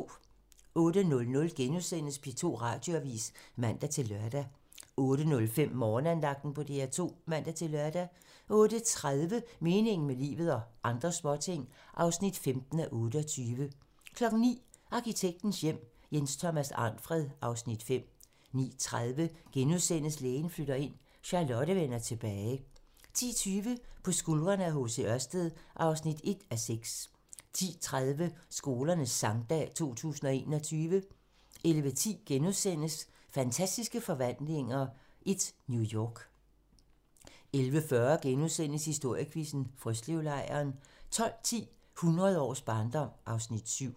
08:00: P2 Radioavis *(man-lør) 08:05: Morgenandagten på DR2 (man-lør) 08:30: Meningen med livet - og andre småting (15:28) 09:00: Arkitektens Hjem: Jens Thomas Arnfred (Afs. 5) 09:30: Lægen flytter ind - Charlotte vender tilbage * 10:20: På skuldrene af H.C. Ørsted (1:6) 10:30: Skolernes Sangdag 2021 11:10: Fantastiske Forvandlinger I - New York * 11:40: Historiequizzen: Frøslevlejren * 12:10: Hundrede års barndom (Afs. 7)